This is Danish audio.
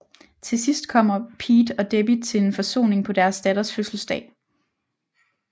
Til sidst kommer Pete og Debbie til en forsoning på deres datters fødselsdag